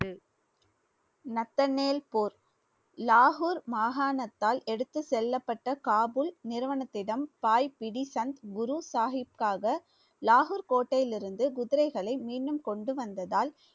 Nathaniel போர் லாகூர் மாகாணத்தால் எடுத்துச் செல்லப்பட்ட காபுல் நிறுவனத்திடம் சந்த் குரு சாஹிப்பிற்காக லாகூர் கோட்டையிலிருந்து குதிரைகளை மீண்டும் கொண்டு வந்ததால்